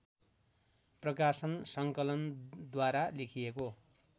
प्रकाशन सङ्कलनद्वारा लेखिएको